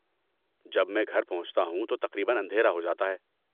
جب میں گھر پہنچتا ہوں تو تقریباً اندھیرا ہو جاتا ہے۔